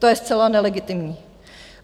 To je zcela nelegitimní.